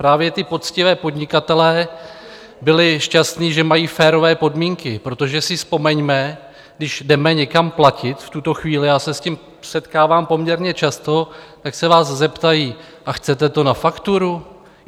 Právě ti poctiví podnikatelé byli šťastní, že mají férové podmínky, protože si vzpomeňme, když jdeme někam platit v tuto chvíli, já se s tím setkávám poměrně často, tak se vás zeptají: A chcete to na fakturu?